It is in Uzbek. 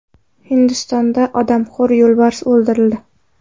Hindistonda odamxo‘r yo‘lbars o‘ldirildi .